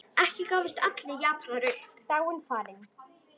Ekki gáfust allir Japanir upp.